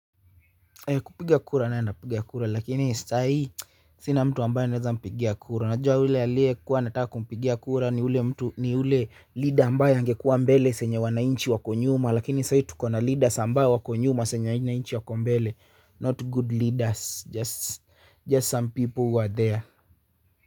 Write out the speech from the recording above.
Kupiga kura nitapiga kura lakini kwa sasa sina mtu ambaye naweza kumpigia kura. Yule ambaye nilikuwa nataka kumpigia kura ni yule kiongozi ambaye angekuwa mbele, saa yenye wananchi tukiwa nyuma. Lakini sasa tuna viongozi ambao wako nyuma, sisi wananchi tuko mbele, not good leaders. Just some people who are there.